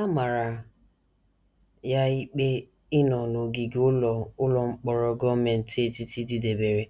A mara ya ikpe ịnọ n’ogige ụlọ ụlọ mkpọrọ gọọmenti etiti dịdebere